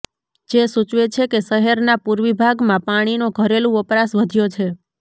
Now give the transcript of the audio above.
જે સૂચવે છે કે શહેરના પૂર્વી ભાગમાં પાણીનો ઘરેલું વપરાશ વધ્યો છે